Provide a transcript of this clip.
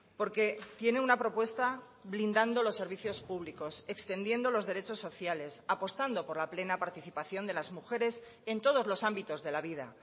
porque tiene una propuesta blindando los servicios públicos extendiendo los derechos sociales apostando por la plena participación de las mujeres en todos los ámbitos de la vida